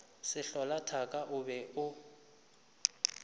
sehlola thaka o be o